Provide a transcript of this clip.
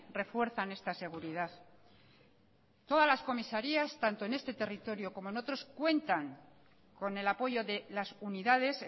refuerzan esta seguridad todas las comisarías tanto en este territorio como en otros cuentan con el apoyo de las unidades